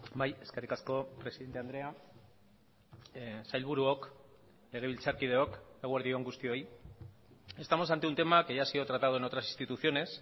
bai eskerrik asko presidente andrea sailburuok legebiltzarkideok eguerdi on guztioi estamos ante un tema que ya ha sido tratado en otras instituciones